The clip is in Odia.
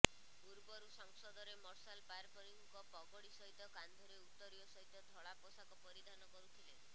ପୂର୍ବରୁ ସଂସଦରେ ମାର୍ଶାଲ୍ ପାରମ୍ପରିକ ପଗଡ଼ି ସହିତ କାନ୍ଧରେ ଉତ୍ତରୀୟ ସହିତ ଧଳା ପୋଷାକ ପରିଧାନ କରୁଥିଲେ